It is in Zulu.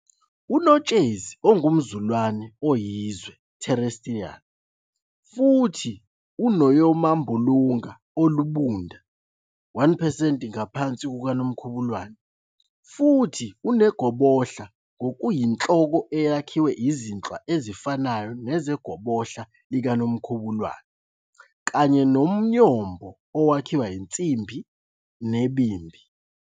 UNotshezi ungumzulane oyizwe "terrestrial" futhi unomoyambulunga olubunda, 1 percent ngaphansi kokaNomkhubulwane, futhi unegobohla ngokuyinhloko elakhiwa izinhlwa ezifanayo nezegobohla likaNomkhubulwane, kanye nomnyombo owakhiwa insimbi nenimbi.